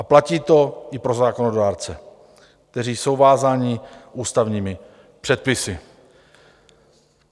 A platí to i pro zákonodárce, kteří jsou vázáni ústavními předpisy.